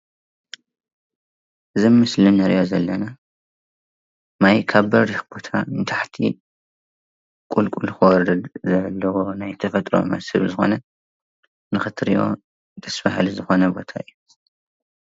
እዚ ምስሊ እንሪኣ ዘለና ማይ ካብ በሪክ ቦታ ናብ ንታሕቲ ቁልቁል ክወርድ ናይ ተፈጥራኣዊ መሰል ዝኮነ ንክትሪኦ ደስ በሃሊ ዝኮነ ቦታ እዩ፡፡